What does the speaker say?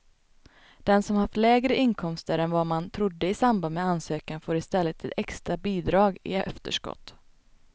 Den som har haft lägre inkomster än vad man trodde i samband med ansökan får i stället ett extra bidrag i efterskott.